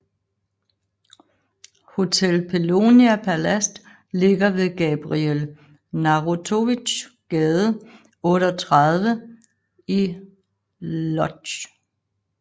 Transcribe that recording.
Hotel Polonia Palast ligger ved Gabriel Narutowicz gade 38 i Łódź